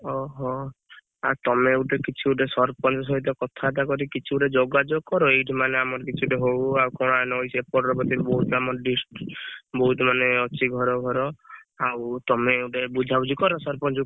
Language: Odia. ଓହୋ ଆଉ ତମେ ଗୋଟେ କିଛି ଗୋଟେ ସରପଞ୍ଚ ସହିତ କଥାବାର୍ତ୍ତା କରି କିଛି ଗୋଟେ ଯୋଗାଯୋଗ କର ଏଇଠୁ ମାନେ ଆମର କିଛି ହଉ ଆଉ କଣ ନଈ ସେପଟରେ ବୋଲି ବହୁତ ଆମ District ବହୁତ ମାନେ ଅଛି ଘର ଫର ଆଉ ତମେ ଗୋଟେ ବୁଝାବୁଝି କର ସରପଞ୍ଚକୁ